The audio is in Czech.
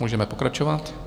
Můžeme pokračovat.